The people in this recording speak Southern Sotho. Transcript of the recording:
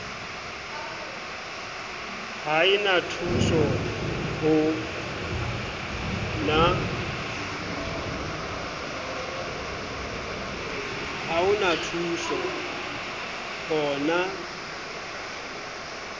ha e na thusoho na